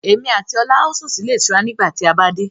Èmi àti ọlá a ó sún sì ilé ìtura nígbà tí a bá dé.